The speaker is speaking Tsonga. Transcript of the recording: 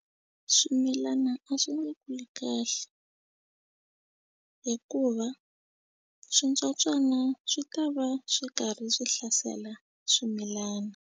Swimilana a swi nge kuli kahle hikuva switsotswana swi ta va swi karhi swi hlasela swimilana.